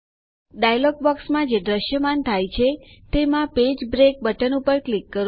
dialog બોક્સમાં જે દ્રશ્યમાન થાય છે તેમાં પેજ બ્રેક બટન ઉપર ક્લિક કરો